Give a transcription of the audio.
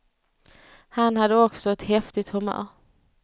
Han hade också ett häftigt humör.